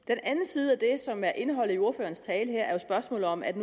er som er indholdet i ordførerens tale her er jo spørgsmålet om at